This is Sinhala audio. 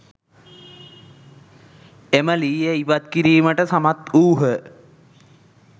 එම ලීය ඉවත් කිරීමට සමත් වූහ.